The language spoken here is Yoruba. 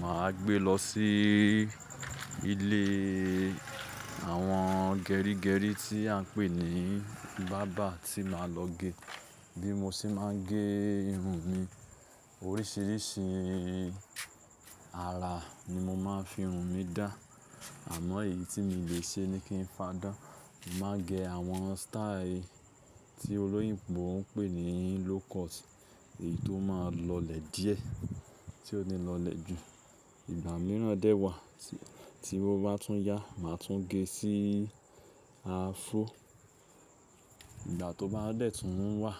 màá gbé lọ sí ilé àwọn gerígerí tí a ń pè ní bábà tí màá lọ gé. Bí mo ṣe máa ń gé irun mi, oríṣiríṣi ara ni mo máa ń fi irun mi dà. Àmọ́ èyí tí mo lè ṣe ni kí n fadán. Mà á gẹ àwọn style tí olóyìnbo ń pè ní low cut. Èyí tó máa lọlẹ̀ díẹ̀, tí ó ní lọlẹ̀ jù. Ìgbà mìíràn dẹ́ wà tí ó bá tún yá, màá tún gé sí afro. Ìgbà tó bá dẹ̀ tún wà,